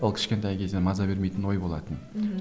ол кішкентай кезден маза бермейтін ой болатын мхм